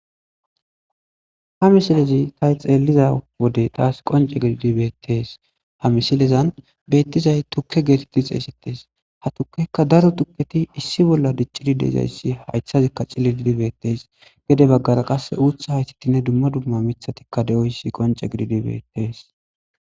ha misilezi tay xeelliza wode daas qonce gididibetees ha misilezan beettizay tukke geetetti xeesetees ha tukkekka daro tukketi issi bolla diccidi dezayssi hayshazikka ciliidibetees gede baggara qasse uutha haytettinne dumma dumma mithatikka de7oyssi qonce gididibetees